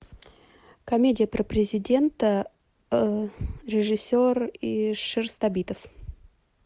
комедия про президента режиссер шерстобитов